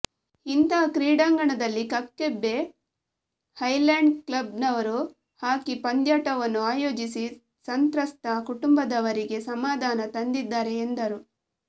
ಇಂತಹ ಕ್ರೀಡಾಂಗಣ ದಲ್ಲಿ ಕಕ್ಕಬ್ಬೆ ಹೈಲ್ಯಾಂಡ್ ಕ್ಲಬ್ನವರು ಹಾಕಿ ಪಂದ್ಯಾಟವನ್ನು ಅಯೋಜಿಸಿ ಸಂತ್ರಸ್ತ ಕುಟುಂಬದವರಿಗೆ ಸಮಾಧಾನ ತಂದಿದ್ದಾರೆ ಎಂದರು